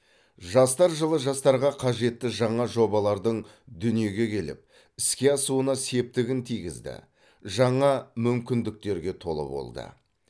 жастар жылы жастарға қажетті жаңа жобалардың дүниеге келіп іске асуына септігін тигізді жаңа мүмкіндіктерге толы болды